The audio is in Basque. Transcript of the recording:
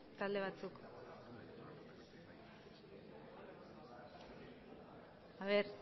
talde batzuk a ver